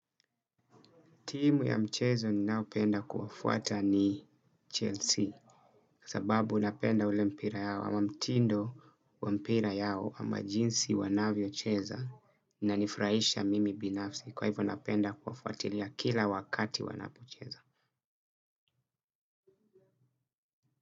Timu ya mchezo ninayopenda kufuata ni Chelsea sababu unapenda ule mpira yao ama mtindo wa mpira yao ama jinsi wanavyocheza inanifurahisha mimi binafsi kwa hivyo napenda kuwafuatilia kila wakati wanapocheza.